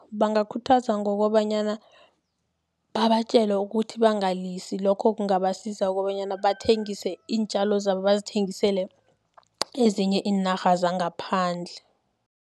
Bangakhuthazwa ngokobanyana babatjele ukuthi bangalisi, lokho kungabasiza kobanyana bathengise iintjalo zabo, bazithengisele ezinye iinarha zangaphandle.